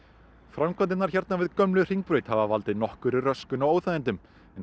framkvæmdirnar hérna við gömlu Hringbraut hafa valdið nokkurri röskun og óþægindum en